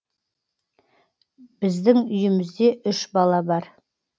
біздің үйімізде үш бала бар